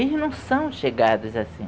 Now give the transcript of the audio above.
Eles não são chegados assim.